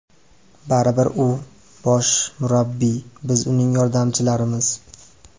Baribir u bosh murabbiy, biz uning yordamchilarimiz.